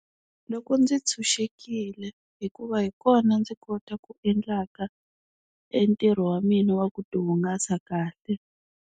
Loko ndzi tshunxekile hikuva hi kona ndzi kota ku endlaka e ntirho wa mina wa ku ti hungasa kahle.